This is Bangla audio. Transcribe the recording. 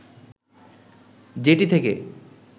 যেটি থেকে